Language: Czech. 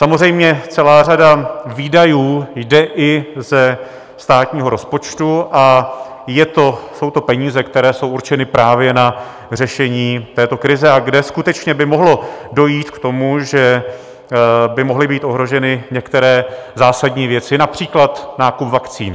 Samozřejmě, celá řada výdajů jde i ze státního rozpočtu a jsou to peníze, které jsou určeny právě na řešení této krize a kde skutečně by mohlo dojít k tomu, že by mohly být ohroženy některé zásadní věci - například nákup vakcín.